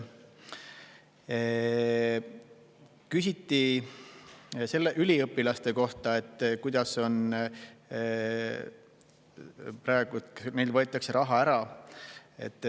Küsiti üliõpilaste kohta, kuidas sellega on, et praegu neilt võetakse raha ära.